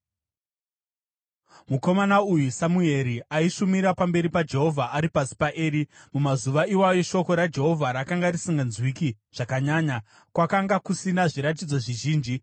Mukomana uyu Samueri aishumira pamberi paJehovha ari pasi paEri. Mumazuva iwayo shoko raJehovha rakanga risinganzwiki zvakanyanya, kwakanga kusina zviratidzo zvizhinji.